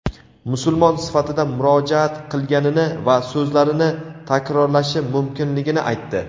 musulmon sifatida murojaat qilganini va so‘zlarini takrorlashi mumkinligini aytdi.